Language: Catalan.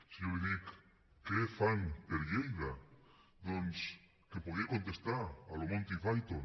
si jo li dic què fan per lleida doncs que em podria contestar a la monty python